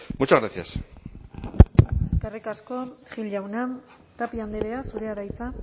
muchas gracias eskerrik asko gil jauna tapia andrea zurea da hitza